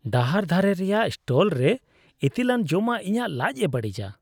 ᱰᱟᱦᱟᱨ ᱫᱷᱟᱨᱮ ᱨᱮᱭᱟᱜ ᱥᱴᱚᱞᱨᱮ ᱤᱛᱤᱞᱟᱱ ᱡᱚᱢᱟᱜ ᱤᱧᱟᱹᱜ ᱞᱟᱡᱽᱼᱮ ᱵᱟᱹᱲᱤᱡᱟ ᱾